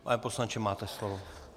Pan poslanče, máte slovo.